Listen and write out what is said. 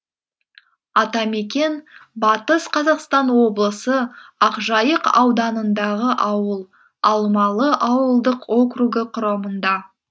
атамекен батыс қазақстан облысы ақжайық ауданындағы ауыл алмалы ауылдық округі құрамында